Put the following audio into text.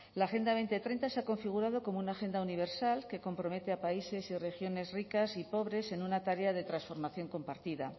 la agenda dos mil treinta se ha configurado como una agenda universal que compromete a países y regiones ricas y pobres en una tarea de transformación compartida